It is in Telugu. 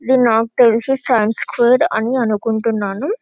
ఇది నాకు తెలిసి సైన్స్ ఫేర్ అనుకుంటున్నాను--